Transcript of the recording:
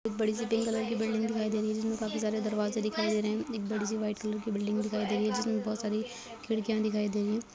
एक बड़ी सी पिंक कलर की बिल्डिंग दिखाई दे रही है जिसमे काफी सारे दरवाजे दिखाई दे रहे है एक बड़ी सी व्हाइट कलर की बिल्डिंग दिखाई दे रही है जिसमे बहुत सारी खिड़कियाँ दिखाई दे रही हैं।